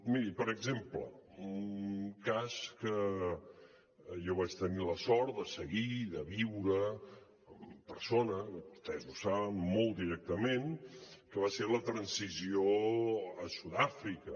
miri per exemple un cas que jo vaig tenir la sort de seguir i de viure en persona vostès ho saben molt directament va ser la transició a sud àfrica